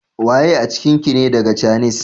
Waye a cikin ki ne daga cainis?